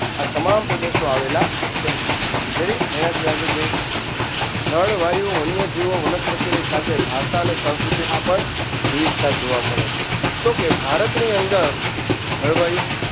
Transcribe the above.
આ તમામ પ્રદેશો આવેલા છે Ready એનાથી આગળ જઈએ જળવાયુ વન્યજીવો વનસ્પતિની સાથે ભાષા અને સંસ્કૃતિમાં પણ વિવિધતા જોવા મળે છે. તો કે ભારતની અંદર જળવાયુ